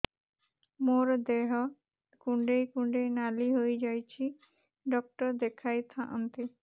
ମୋର ଦେହ କୁଣ୍ଡେଇ କୁଣ୍ଡେଇ ନାଲି ହୋଇଯାଉଛି ଡକ୍ଟର ଦେଖାଇ ଥାଆନ୍ତି